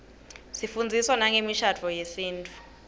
sifundziswa nangemishadvo yesintfu